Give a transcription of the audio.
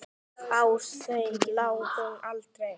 Á þeim lá hún aldrei.